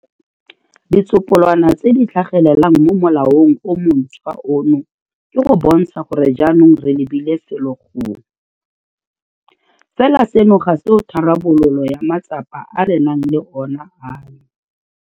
Ditsopolwana tse di tlhagelelang mo molaong o montšhwa ono ke go bontsha gore jaanong re lebile felo gongwe. Fela seno ga se tharabololo ya matsapa a re nang le ona ano.